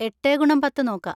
എട്ടേ ഗുണം പത്ത് നോക്കാ.